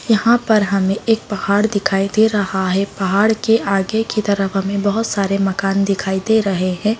यहाँ पे हमें एक पहाड़ दिखाई दे रहा है पहाड़ के आगे की तरफ हमें अभूत सारे मकान दिखाई दे रहे हैं।